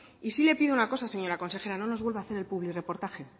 y sí le pido una cosa señora consejera no nos vuelva hacer el publirreportaje